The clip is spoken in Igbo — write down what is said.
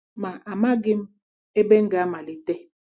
Ma amaghị m ebe m ga-amalite.